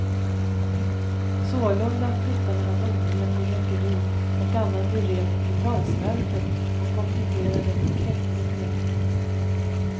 Sålunda flyttade han odlingen med rökeri och annan beredning till valsverket och kompletterade med kräftodling.